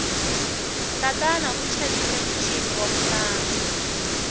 tatana u xavile muchini waku hlantswa